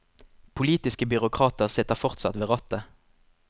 Politiske byråkrater sitter fortsatt ved rattet.